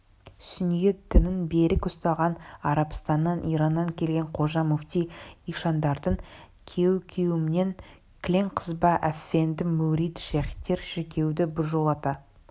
сүниет дінін берік ұстаған арабстаннан ираннан келген қожа муфти ишандардың кеу-кеуімен кілең қызба әфенді мүрит шейхтер шіркеуді біржолата